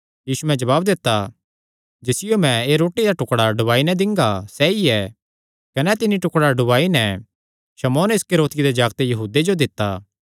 यीशुयैं जवाब दित्ता जिसियो मैं एह़ रोटी दा टुकड़ा डुबाई नैं दिंगा सैई ऐ कने तिन्नी टुकड़ा डुबाई नैं शमौन इस्करियोती दे जागते यहूदे जो दित्ता